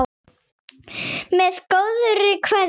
Með góðri kveðju.